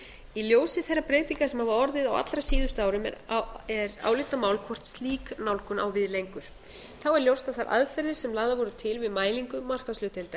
í ljósi þeirra breytinga sem orðið hafa á allra síðustu árum er álitamál hvort slík nálgun á við lengur þá er ljóst að þær aðferðir sem lagðar voru til við mælingu